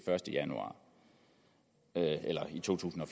første januar eller i to tusind og